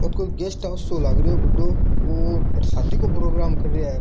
आ कोई guest house सो लाग रियो है बड़ो और अट्ठ शादी को प्रोग्राम कर रया है।